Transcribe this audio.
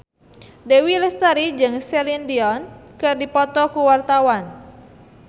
Dewi Lestari jeung Celine Dion keur dipoto ku wartawan